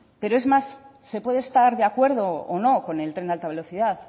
pero es más se puede estar de acuerdo o no con el tren de alta velocidad